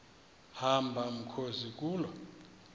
hamba mkhozi kuloo